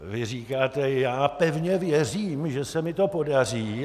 Vy říkáte: já pevně věřím, že se mi to podaří.